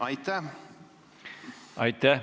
Aitäh!